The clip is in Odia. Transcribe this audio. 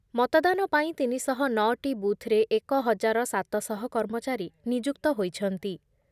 ମତଦାନ ପାଇଁ ତିନି ଶହ ନଅଟି ବୁଥରେ ଏକ ହଜାର ସାତ ଶହ କର୍ମଚାରୀ ନିଯୁକ୍ତ ହୋଇଛନ୍ତି ।